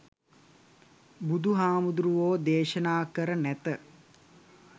බුදුහාමුදුහාමුදුරුවෝ දේශනා කර නැත.